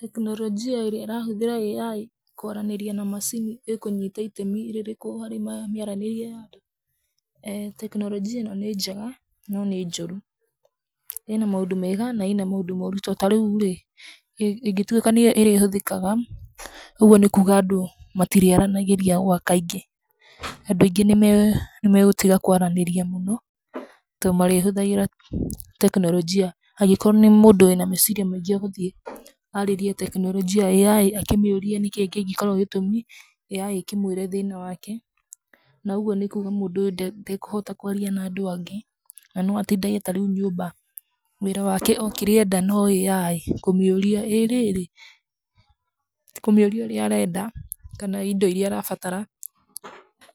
Teknologia ĩrĩa ĩrahũthĩra AI kwaranĩria na macini ĩkũnyita itemi rĩrĩkũ harĩ mĩaranĩrie ya andũ? Teknolojia ĩno nĩ njega, no nĩ njũru. ĩna maũndũ mega na ĩna maũndũ mooru. To ta rĩu rĩ, ĩngĩtuĩka nĩ yo ĩrĩhũthĩkaga, ũguo nĩ kuuga andũ matirĩ aranagĩria gwa kaingĩ. Andũ aingĩ nĩ megũtiga kũaranĩria mũno, to marĩhũthagĩra teknologia. Angĩkorwo nĩ mũndũ wĩna meeciria maingĩ, egũthiĩ aarĩrie teknologia ya AI akĩmĩũrie nĩ kĩĩ kĩngĩkorwo gĩtũmi AI ĩkĩmwĩre thĩna wake. Na ũguo nĩ kuuga mũndũ ũyũ ndekũhota kũaria na andũ angĩ, na no atindage ta rĩu nyũmba. Wĩra wake o kĩrĩa enda , no AI, kũmĩũria, "ĩ rĩrĩ," kĩmĩũria ũrĩa arenda, kana indo iria arabatara.